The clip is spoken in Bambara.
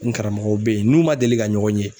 N karamɔgɔw bɛ ye n n'u man deli ka ɲɔgɔn ye.